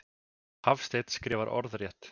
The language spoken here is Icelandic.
Hafstein skrifar orðrétt.